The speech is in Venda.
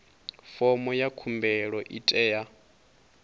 fomo ya khumbelo i tea